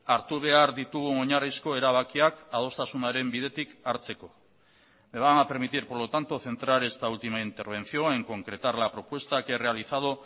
hartu behar ditugun oinarrizko erabakiak adostasunaren bidetik hartzeko me van a permitir por lo tanto centrar esta última intervención en concretar la propuesta que he realizado